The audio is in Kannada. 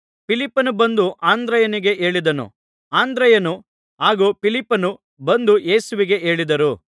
ಫಿಲಿಪ್ಪನು ಬಂದು ಅಂದ್ರೆಯನಿಗೆ ಹೇಳಿದನು ಅಂದ್ರೆಯನು ಹಾಗೂ ಫಿಲಿಪ್ಪನೂ ಬಂದು ಯೇಸುವಿಗೆ ಹೇಳಿದರು